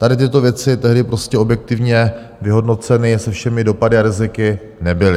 Tady tyto věci tehdy prostě objektivně vyhodnoceny se všemi dopady a riziky nebyly.